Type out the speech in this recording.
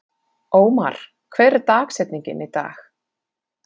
Ómar, hver er dagsetningin í dag?